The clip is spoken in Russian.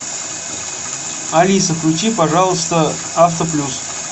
алиса включи пожалуйста авто плюс